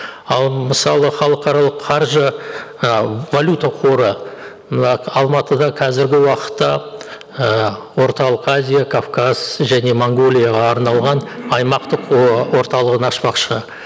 ал мысалы халықаралық қаржы і валюта қоры мына алматыда қазіргі уақытта ііі орталық азия кавказ және монғолияға арналған аймақтық орталығын ашпақшы